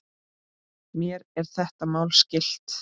Mér er þetta mál skylt.